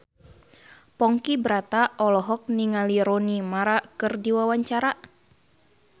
Ponky Brata olohok ningali Rooney Mara keur diwawancara